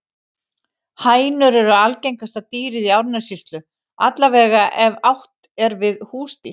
Hænur eru algengasta dýrið í Árnessýslu, alla vega ef átt er við húsdýr.